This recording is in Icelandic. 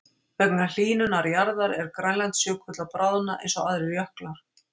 Vegna hlýnunar jarðar er Grænlandsjökull að bráðna eins og aðrir jöklar.